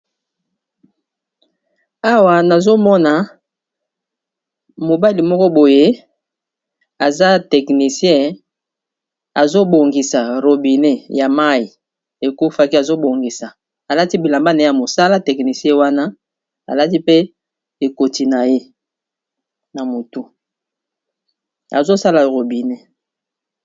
Awa nazomona mobali moko boye aza technicien azo bongisa robinet ya mayi ekufaki alati bilamba naye ya mosala ekoti na mutu azosala robinet.